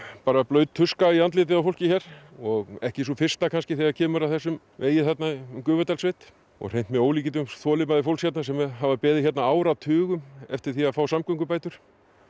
bara blaut tuska í andlitið á fólki hér og ekki sú fyrsta kannski þegar kemur að þessum vegi þarna um Gufudalssveit og hreint með ólíkindum þolinmæði fólks hérna sem hefur beðið hérna áratugum eftir því að fá samgöngubætur